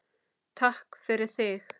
Takk fyrir þig.